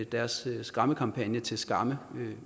deres skræmmekampagne til skamme